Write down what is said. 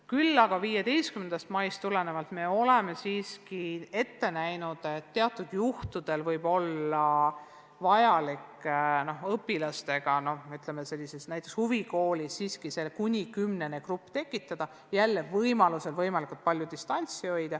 Küll aga oleme 15. maist ette näinud, et teatud juhtudel võib olla vajalik näiteks huvikoolis tekitada õpilastest siiski kuni kümnene grupp ja jälle võimalikult palju distantsi hoida.